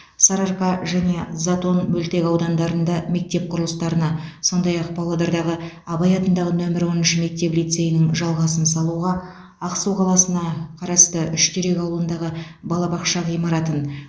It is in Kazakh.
сарыарқа және затон мөлтекаудандарында мектеп құрылыстарына сондай ақ павлодардағы абай атындағы нөмірі оныншы мектеп лицейінің жалғасын салуға ақсу қаласына қарасты үштерек ауылындағы балабақша ғимаратын